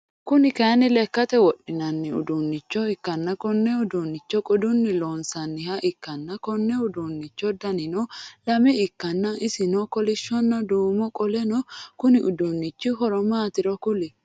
Kuni kaayiini lekhate wodhinano uduunichcho ikkana konne uduunnichono qodunni loonsaniha ikkana konni uduunicho danino lame ikkanna isino kolisshona duumoho qoleno Konni uduunnichi horo maatiro kuli?